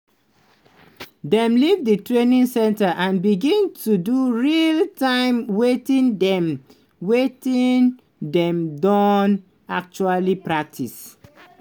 "dem leave di training centre and begin to do real-time wetin dem wetin dem don actually practise".